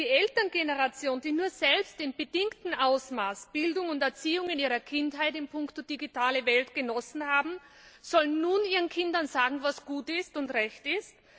Die Elterngeneration, die nur selbst in bedingtem Ausmaß Bildung und Erziehung in ihrer Kindheit in puncto digitale Welt genossen haben, soll nun ihren Kindern sagen, was gut und recht ist?